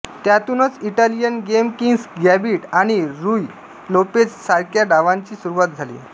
त्यातूनच Italian Game King's Gambit आणि Ruy Lopez सारख्या डावांची सुरुवात झाली